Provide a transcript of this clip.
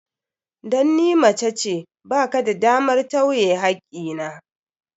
Dan ni macece, ba ka da damar tawye hakki na.